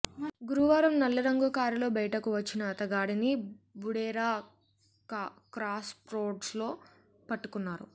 గురువారం నల్లరంగు కారులో బయటకు వచ్చిన అతగాడిని బుడేరా క్రాస్రోడ్స్లో పట్టుకున్నారు